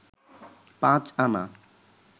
পাঁচ আনা